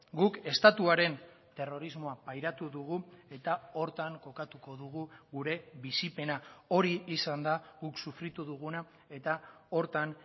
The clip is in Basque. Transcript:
guk estatuaren terrorismoa pairatu dugu eta horretan kokatuko dugu gure bizipena hori izan da guk sufritu duguna eta horretan